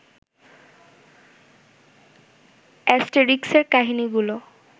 অ্যাস্টেরিক্সের কাহিনীগুলো